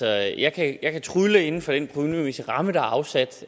at jeg kan trylle inden for den økonomiske ramme der er afsat